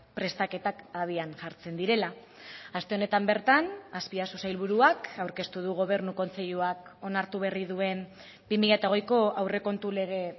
prestaketak abian jartzen direla aste honetan bertan azpiazu sailburuak aurkeztu du gobernu kontseiluak onartu berri duen bi mila hogeiko aurrekontu lege